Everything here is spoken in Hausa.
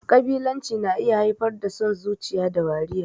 Ƙabilanci na iya haifar da son zuciya da wariya.